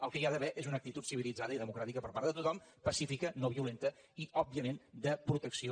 el que hi ha d’haver és una actitud civilitzada i democràtica per part de tothom pacífica no violenta i òbviament de protecció